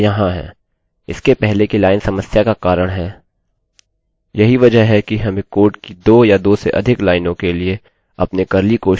यही वजह है कि हमें कोड की दो या दो से अधिक लाइनों के लिए अपने कर्ली कोष्ठकों को वापस जोड़ने की जरूरत होती है